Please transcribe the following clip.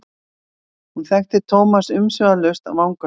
Hún þekkti Thomas umsvifalaust af vangasvipnum.